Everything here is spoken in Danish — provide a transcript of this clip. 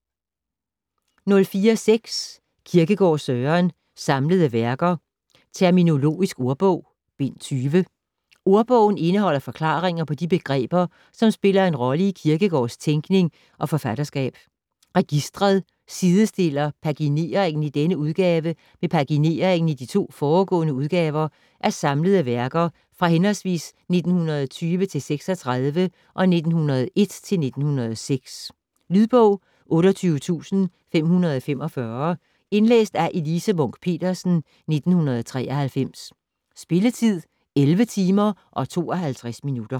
04.6 Kierkegaard, Søren: Samlede Værker: Terminologisk ordbog: Bind 20 "Ordbogen" indeholder forklaringer på de begreber, som spiller en rolle i Kierkegårds tænkning og forfatterskab. "Registret" sidestiller pagineringen i denne udgave med pagineringen i de to foregående udgaver af "Samlede værker" fra hhv. 1920-36 og 1901-06. Lydbog 28545 Indlæst af Elise Munch-Petersen, 1993. Spilletid: 11 timer, 52 minutter.